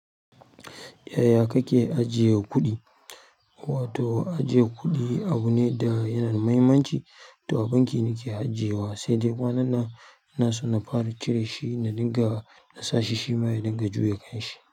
Yaya kake ajiye kuɗi? Wato ajiye kuɗi abune wanda yake da muhimmanci to a banki nake ajiyewa, sai dai kwanan nan ina son na fara cire shi na dinga na sashi shima ya dinga juye kan shi.